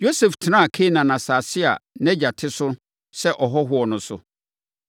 Yosef tenaa Kanaan asase a na nʼagya te so sɛ ɔhɔhoɔ no so.